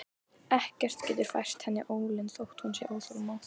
Ekkert getur fært henni ólund þótt hún sé óþolinmóð.